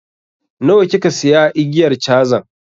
Nawa kika siya igiyar cazan?